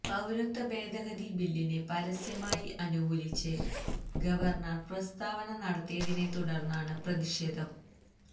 പൌരത്വ ഭേദഗതി ബില്ലിനെ പരസ്യമായി അനുകൂലിച്ച് ഗവര്ണര് പ്രസ്താവന നടത്തിയതിനെത്തുടര്ന്നാണ് പ്രതിഷേധം